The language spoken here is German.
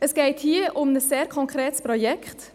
Es geht hier um ein sehr konkretes Projekt.